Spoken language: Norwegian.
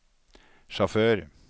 sjåfør